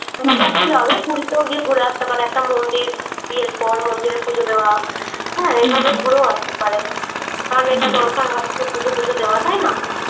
যাওয়া যায় পূরীতেও গিয়ে ঘুরে আসতে পারে । একটা মন্দির বিয়ের পর মন্দিরে পুজো দেওয়া হ্যাঁ এভাবেও ঘুরে আসতে পারে । কারণ এটা দরকার হয় একটু পুজো টুজো দেওয়ার তাই না?